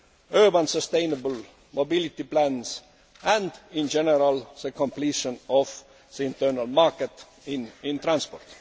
urban sustainable mobility plans and, in general, the completion of the internal market in transport.